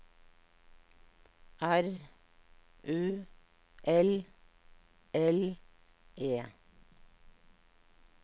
R U L L E